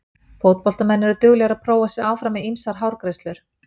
Fótboltamenn eru duglegir að prófa sig áfram með ýmsar hárgreiðslur.